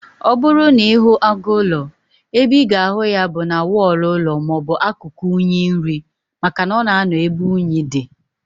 Ọbụrụ na ịhụ agụ ụlọ, ebe ịga ahụ ya bụ na wọlụ ụlọ maọbụ na akụkụ unyi nri, maka na ọ na anọ ebe unyi dị